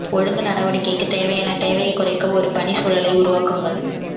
ஒழுங்கு நடவடிக்கைக்கு தேவையான தேவையை குறைக்க ஒரு பணி சூழலை உருவாக்குங்கள்